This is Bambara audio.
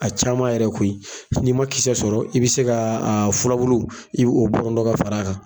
A caman yɛrɛ koyi. Ni ma kisɛ sɔrɔ i be se ka furabulu i be o bɔrɔntɔ ka fara a kan.